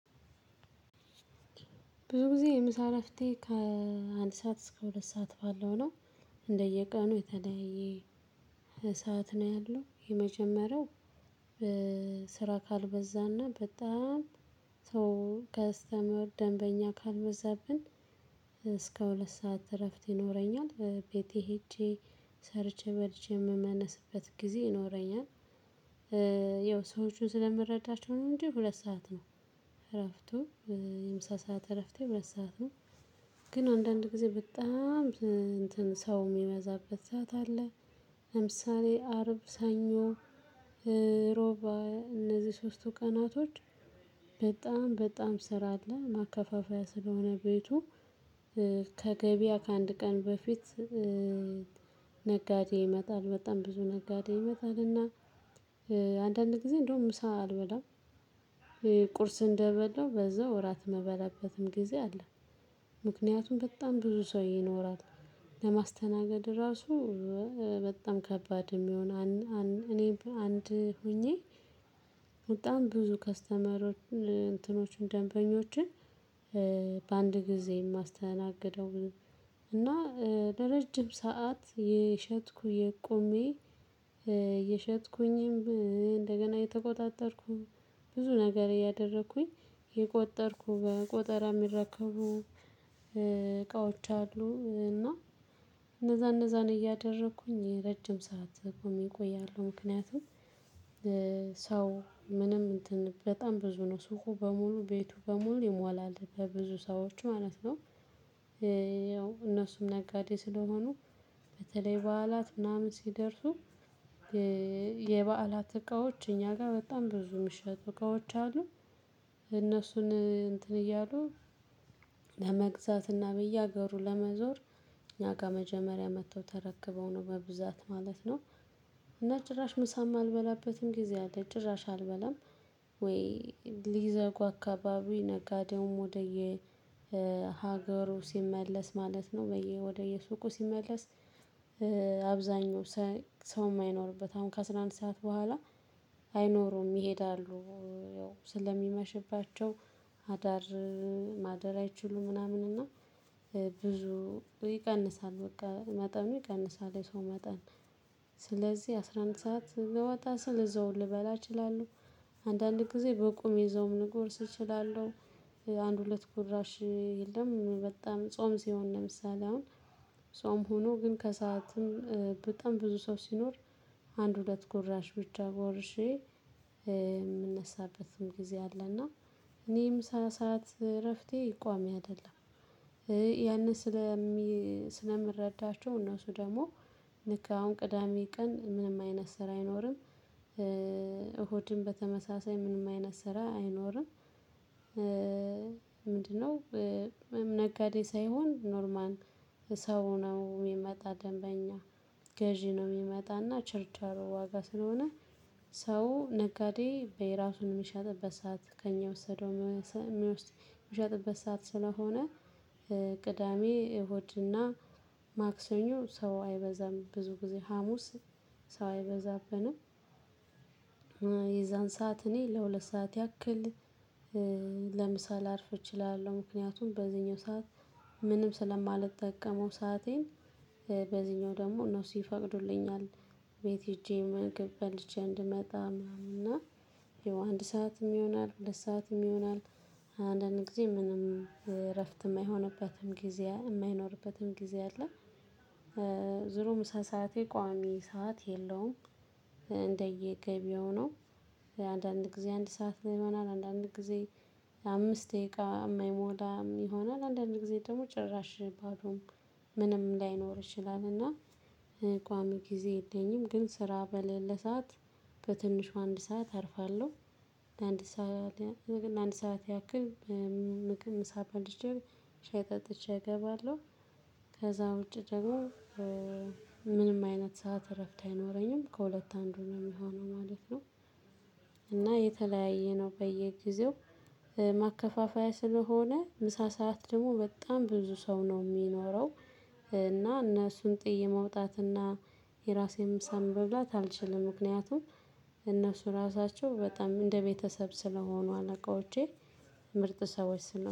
ብዙ ጊዜ የምሳ እረፍቴ ከአንድ ሰዓት እስከ ሁለት ሰዓት ባለው ነው። እንደየቀኑ የተለየ እሳት ነው ያለው የመጀመሪያው ስራ ካልበዛና በጣም ሰው ከስተመር ደንበኛ ካልበዛብን እስከ ሁለት ሰዓት እረፍት ይኖረኛል። ቤቴ ሄጄ ሰርቼ በልቼ የምመለስበት ጊዜ ይኖረኛል። ያው ሰዎቹን ስለምረዳቸው ነው እንጂ ሁለት ሰዓት ነው። እረፍቱ የምሳ ሰዓት እረፍቴ ሁለት ሰዓት ነው። ግን አንዳንድ ጊዜ በጣም ሰው የሚያዛበት ሰዓት አለ። ለምሳሌ አርብ፤ ሰኞ፤ ዕረቡእነዚህ ሶስቱ ቀናቶች በጣም በጣም ስራ አለ። ማከፋፈያ ስለሆነ ቤቱ ከገበያ ከአንድ ቀን በፊት ነጋዴ ይመጣል በጣም ብዙ ነጋዴ ይመጣልና አንዳንድ ጊዜ እንደውም ምሳ አልበላም። ቁርስ እንደበላው በዛው እራት መበላበትም ጊዜ አለ። ምክንያቱም በጣም ብዙ ሰው ይኖራል። ለማስተናገድ ራሱ በጣም ከባድ የሚሆን እኔ አንድ ሆኜ በጣም ብዙ ከስተመሮች እንትኖችን ደንበኞችን በአንድ ጊዜ የማስተናግደው። እና ለረጅም ሰዓት የሸጥኩኝ ቆሜ የሸጥኩኝም እንደገና የተቆጣጠርኩኝ ብዙ ነገር ያደረኩኝ የቆጠርኩ በቆጠራ የሚረከቡ እቃዎች አሉ። እና እነዛ እነዛን እያደረኩኝ የረጅም ሰዓት ቆሜ እቆያለሁ ምክንያቱም ሰው ምንም እንትን በጣም ብዙ ነው ሱቁ በሙሉ ቤቱ በሙሉ ይሞላል በብዙ ሰዎች ማለት ነው። ነጋዴ ስለሆኑ በተለይ በዓላት ምናምን ሲደርሱ የበዓላት እቃዎች እኛ ጋር በጣም ብዙ የሚሸጡ እቃዎች አሉ። እነሱን እንትን እያሉ ለመግዛት እና በየሀገሩ ለመዞር እና ከመጀመሪያ መጥተው ተረክበው ነው በብዛት ማለት ነው። እና ጭራሽ ምሳም አልበላበትም ጊዜ አለ ጭራሽ አልበላም። ወይ ሊዘጉ አካባቢ ነጋዴውም ወደየ ሀገሩ ሲመለስ ማለት ነው ወደየሱቁ ሲመለስ አብዛኛው ሰው የማይኖርበት አሁን ከአሥራ አንድ ሰዓት በኋላ አይኖሩም ይሄዳሉ። ስለሚመሽባቸው አዳር ማደር አይችሉም። ምናምን እና ብዙ ይቀንሳል በቃ መጠኑ ይቀንሳል የሰው መጠን። ስለዚህ አስራ አንድ ሰዓት ስወጣ ስል እዘው ልበላ እችላለሁ። አንዳንድ ጊዜ በቁም ይዘውም ንጉስ እችላለሁ አንድ ሁለት ጉድራሽ የለም። በጣም ጾም ሲሆን ለምሳሌ አሁን ጾም ሆኖ ግን ከሰአትም በጣም ብዙ ሰው ሲኖር አንድ ሁለት ጎራሽ ብቻ ጎርሼ የምነሳበትም ጊዜ አለና እኔ ምሳ ሰዓት እረፍቴ ቋሚ አይደለም። ያንን ስለምረዳቸው እነሱ ደግሞ ልክ አሁን ቅዳሜ ቀን ምንም አይነት ስራ አይኖርም። እሁድም በተመሳሳይ ምንም አይነት ስራ አይኖርም። ምንድነው? ነጋዴ ሳይሆን ኖርማን ሰው ነው የሚመጣ ደንበኛ ገዢ ነው የሚመጣና ችርቻሩ ዋጋ ስለሆነ ሰው ነጋዴ በየራሱን የምሸጥበት ሰዓት ከእኛ ወሰደው የሚወስድ የሸጥበት ሰዓት ስለሆነ። ቅዳሜ ሆድና ማክሰኞ ሰው አይበዛም ብዙ ጊዜ ሀሙስ ሰው አይበዛብንም። የዛን ሰዓት እኔ ለሁለት ሰዓት ያክል ለምሳሌ ላርፍ እችላለሁ ምክንያቱም በዚህኛው ሰዓት ምንም ስለማልጠቀመው ሰአቴን በዚህኛው ደግሞ እነሱ ይፈቅዱልኛል። ቤት ሄጄ ምግብ በልቼ እንድመጣ ምናምን እና ይው አንድ ሰዓትም ይሆናል ሁለት ሰዓትም ይሆናል። አንዳንድ ጊዜ ምንም እረፍት የማይሆንበትም ጊዜ የማይኖርበትም ጊዜ አለ። ዙሮ ምሳ ሰዓት የቋሚ ሰዓት የለውም። እንደየገቢው ነው። አንዳንድ ጊዜ አንድ ሰዓት ይሆናል አንዳንድ ጊዜ አምስት ደቂቃ የማይሞላም ይሆናል አንዳንድ ጊዜ ደግሞ ጭራሽ ባዶም ምንም ላይኖር ይችላል እና። ቋሚ ጊዜ የለኝም ግን ስራ በለለ በትንሹ አንድ ሰዓት አርፋለሁ። ለአንድ ሰዓት ያክል ምግብ ምሳ በልቼ ሻይ ጠጥቼ እገባለሁ። ከዛ ውጪ ደግሞ ምንም አይነት ሰዓት እረፍት አይኖረኝም ከሁለት አንዱ ነው የሚሆነው ማለት ነው። እና የተለያየ ነው በየጊዜው ማከፋፈያ ስለሆነ ምሳ ሰዓት ደግሞ በጣም ብዙ ሰው ነው የሚኖረው። እና እነሱን ጥየ መውጣት እና የራሴን ምሳም መብላት አልችልም ምክንያቱም እነሱ ራሳቸው በጣም እንደ ቤተሰብ ስለሆኑ አለቆቼ ምርጥ ሰዎች ስለሆኑ